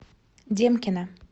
демкина